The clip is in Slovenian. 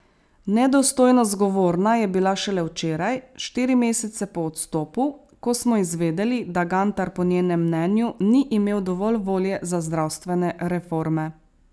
Nedostojno zgovorna je bila šele včeraj, štiri mesece po odstopu, ko smo izvedeli, da Gantar po njenem mnenju ni imel dovolj volje za zdravstvene reforme.